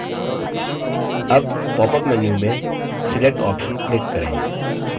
अब popअप menu में select option click करें